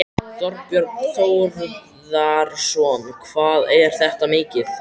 Þorbjörn Þórðarson: Hvað er þetta mikið?